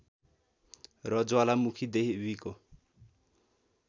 र ज्वालामुखी देवीको